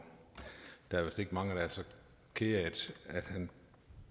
der er vist ikke mange der er så kede af